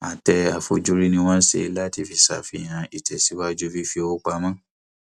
àtẹ àfojúrí ni wọn ṣe láti fi ṣàfihàn ìtẹsíwájú fífi owó pamọ